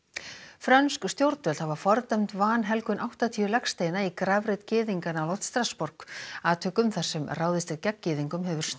frönsk stjórnvöld hafa fordæmt vanhelgun áttatíu legsteina í grafreit gyðinga nálægt Strassborg atvikum þar sem ráðist er gegn gyðingum hefur